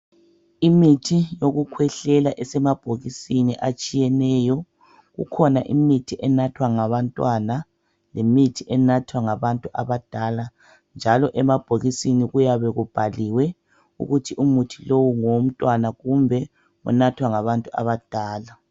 Imithi yokukhwehlela esemabhokisini atshiyeneyo kukhona imithi enathwa ngabantwana lemithi enathwa ngabantu abadala, njalo emabhokisini kuyabe kubhaliwe ukuthi umuthi lowu ngowomntwana kumbe unathwa ngabantu abadala.